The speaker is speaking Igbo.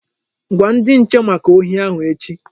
Gwa ndi nche maka ohi ahụ echi!